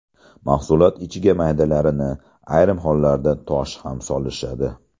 Mahsulot ichiga maydalarini, ayrim hollarda tosh ham solishadi.